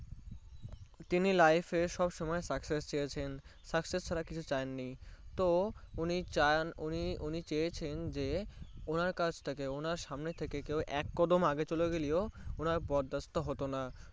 তিনি Life সব সময় Success চেয়েছেন Success ছাড়া কিছু চাননি তো উনি চান চেয়েছেন যে ওনার কাজ তাকে ওনার সামনে থেকে কেও এক কদম চলে গেলেও ওনার বরদাস্ত হতোনা